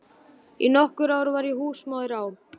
Í nokkur ár var ég húsmóðir á